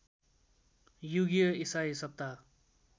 युगीय ईसाई सप्ताह